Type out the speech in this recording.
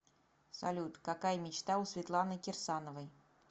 салют какая мечта у светланы кирсановой